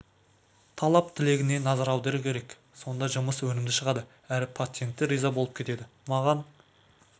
талап-тілегіне назар аудару керек сонда жұмыс өнімді шығады әрі пациент те риза болып кетеді маған